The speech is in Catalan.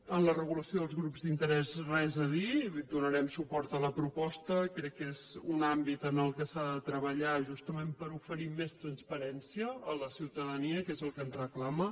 en la regulació dels grups d’interès res a dir donarem suport a la proposta crec que és un àmbit en què s’ha de treballar justament per oferir més transparència a la ciutadania que és el que ens reclama